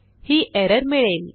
ही error मिळेल